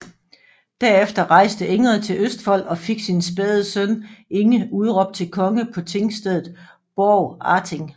Derefter rejste Ingrid til Østfold og fik sin spæde søn Inge udråbt til konge på tingstedet Borgarting